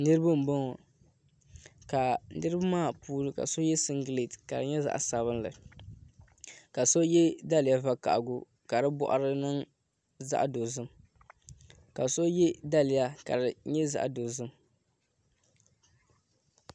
Niraba n boŋo niraba maa puuni ka so yɛ singirɛti ka di nyɛ zaɣ sabinli ka so yɛ daliya vakaɣali ka di boɣari ni niŋ zaɣ dozim ka so yɛ daliya ka di nyɛ zaɣ dozim